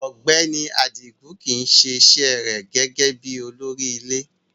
Ọgbẹni Adigun kii se ise re gege bi olori ile